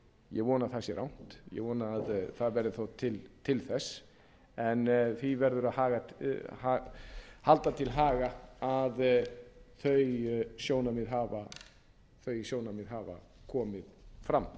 ég vona að það sé rangt ég vona að það verði þó til þess en því verður að halda til haga að þau sjónarmið hafa komið fram